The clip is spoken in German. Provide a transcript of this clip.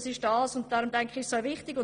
Was heisst das für die einzelnen Regionen?